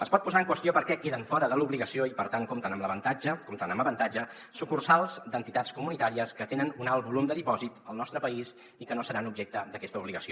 es pot posar en qüestió per què queden fora de l’obligació i per tant compten amb avantatge sucursals d’entitats comunitàries que tenen un alt volum de dipòsit al nostre país i que no seran objecte d’aquesta obligació